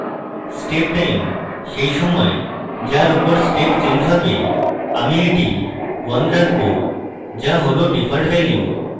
step time সেই সময় যার উপর step change হবে আমরা এটি 1 রাখবো যা হল ডিফল্ট value